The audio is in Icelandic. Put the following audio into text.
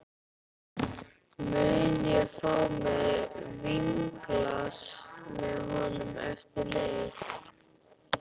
Mun ég fá mér vínglas með honum eftir leik?